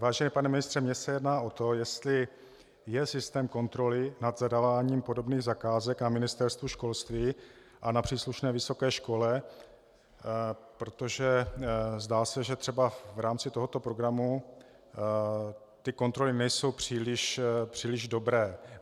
Vážený pane ministře, mně se jedná o to, jestli je systém kontroly nad zadáváním podobných zakázek na Ministerstvu školství a na příslušné vysoké škole, protože, zdá se, že třeba v rámci tohoto programu ty kontroly nejsou příliš dobré.